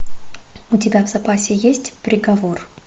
у тебя в запасе есть приговор